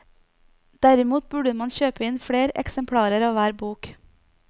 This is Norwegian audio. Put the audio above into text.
Derimot burde man kjøpe inn fler eksemplarer av hver bok.